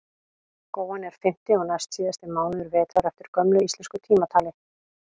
góan er fimmti og næstsíðasti mánuður vetrar eftir gömlu íslensku tímatali